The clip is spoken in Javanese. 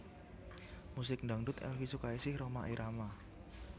Musik Dangdut Elvie Sukaesih Rhoma Irama